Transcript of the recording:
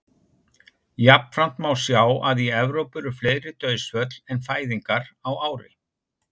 jafnframt má sjá að í evrópu eru fleiri dauðsföll en fæðingar á ári